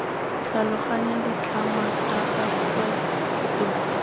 tlhaloganya ditlhangwa tsa gagwe botoka